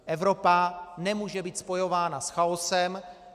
Evropa nemůže být spojována s chaosem.